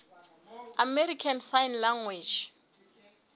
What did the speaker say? american sign language